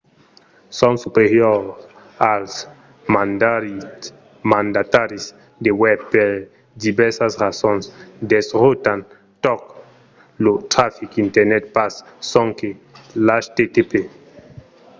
son superiors als mandataris de webs per divèrsas rasons. desrotan tot lo trafic internet pas sonque l'http